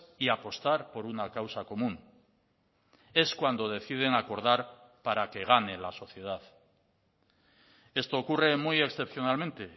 y apostar por una causa común es cuando deciden acordar para que gane en la sociedad esto ocurre muy excepcionalmente